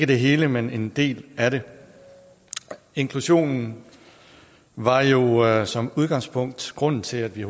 det hele men en del af det inklusion er jo som udgangspunkt grunden til at vi